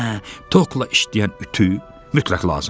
Hə, tokla işləyən ütü mütləq lazımdır.